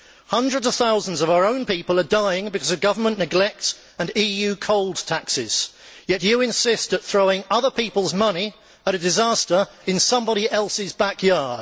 Hundreds of thousands of our own people are dying because of government neglect and EU cold taxes, yet you insist on throwing other people's money at a disaster in somebody else's back yard.